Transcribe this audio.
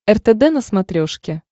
ртд на смотрешке